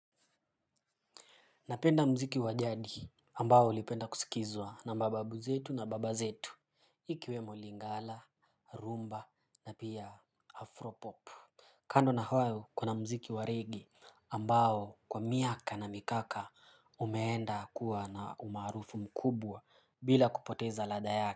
Napenda mziki wa jadi ambao ulipenda kusikizwa na mababu zetu na baba zetu. Ikiwemo lingala rumba na pia afropop kando na hayo kuna mziki wa reggae ambao kwa miaka na mikaka umeenda kuwa na umaarufu mkubwa bila kupoteza ladha yake.